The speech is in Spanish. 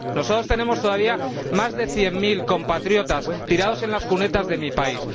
Nosotros tenemos todavía más de cien mil compatriotas tirados en las cunetas de mi país.